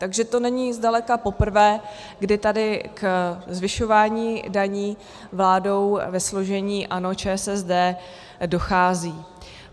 Takže to není zdaleka poprvé, kdy tady ke zvyšování daní vládou ve složení ANO, ČSSD dochází.